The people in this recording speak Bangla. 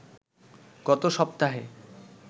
গত সপ্তাহে